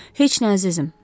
Heç nə, əzizim.